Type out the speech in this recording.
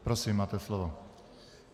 Prosím, máte slovo.